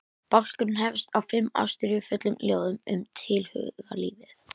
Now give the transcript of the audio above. Bálkurinn hefst á fimm ástríðufullum ljóðum um tilhugalífið.